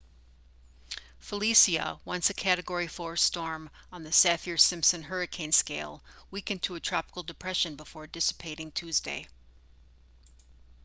felicia once a category 4 storm on the saffir-simpson hurricane scale weakened to a tropical depression before dissipating tuesday